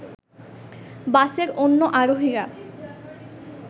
বাসের অন্য আরোহীরা